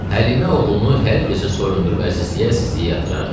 Həlimə oğlunu hər gecə soyundurub, əzizləyə-əzizləyə yatırardı.